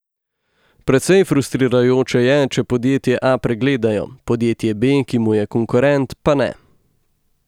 Precej frustrirajoče je, če podjetje A pregledajo, podjetje B, ki mu je konkurent, pa ne.